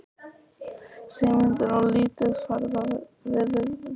Sigmundur: Og lítið ferðaveður víða?